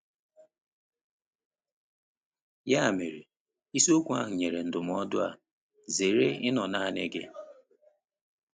Ya mere, isiokwu ahụ nyere ndụmọdụ a: “Zere ịnọ naanị gị.”